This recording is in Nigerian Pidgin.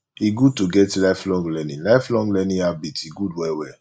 e good to get lifelong learning lifelong learning habit e good well well